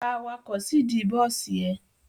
Gba awakọ̀ síìdí bọ́sì ẹ!